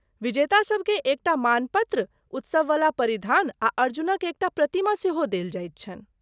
विजेता सभकेँ एकटा मानपत्र, उत्सववला परिधान आ अर्जुनक एकटा प्रतिमा सेहो देल जाइत छनि।